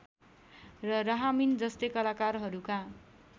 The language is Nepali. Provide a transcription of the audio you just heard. र रहामीन जस्तै कलाकारहरूका